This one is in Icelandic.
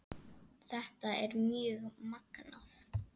Þetta er mjög magnað.